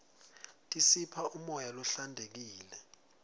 tisipha umoya lohlantekile